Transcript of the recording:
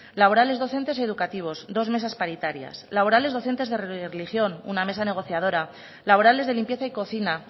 laborales docentes y educativos dos mesas paritarias laborales docentes de religión una mesa negociadora laborales de limpieza y cocina